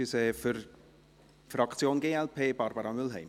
Für die Fraktion glp: Barbara Mühlheim.